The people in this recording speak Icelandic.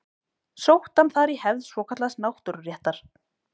Sótti hann þar í hefð svokallaðs náttúruréttar.